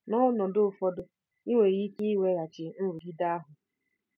N'ọnọdụ ụfọdụ, ị nwere ike iweghachi nrụgide ahụ.